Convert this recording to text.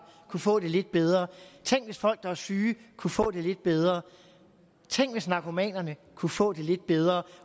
kunne få det lidt bedre tænk hvis folk der er syge kunne få det lidt bedre tænk hvis narkomanerne kunne få det lidt bedre